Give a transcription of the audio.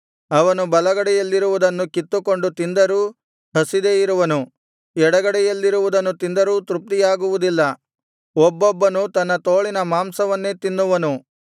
ಅವನು ಬಲಗಡೆಯಲ್ಲಿರುವುದನ್ನು ಕಿತ್ತುಕೊಂಡು ತಿಂದರೂ ಹಸಿದೇ ಇರುವನು ಎಡಗಡೆಯಲ್ಲಿರುವುದನ್ನು ತಿಂದರೂ ತೃಪ್ತಿಯಾಗುವುದಿಲ್ಲ ಒಬ್ಬೊಬ್ಬನು ತನ್ನ ತೋಳಿನ ಮಾಂಸವನ್ನೇ ತಿನ್ನುವನು